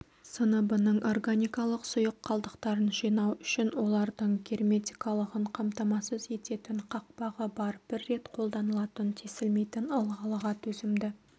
сыныбының органикалық сұйық қалдықтарын жинау үшін олардың герметикалығын қамтамасыз ететін қақпағы бар бір рет қолданылатын тесілмейтін ылғалға төзімді